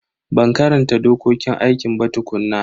Ban karanta dokokin aikin ba tukuna.